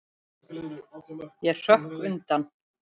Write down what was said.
Ég hrökk undan.